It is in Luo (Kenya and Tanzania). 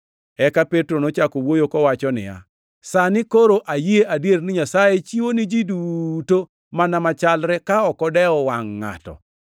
Eka Petro nochako wuoyo kowacho niya, “Sani koro ayie adier ni Nyasaye chiwo ni ji duto mana machalre ka ok odewo wangʼ ngʼato,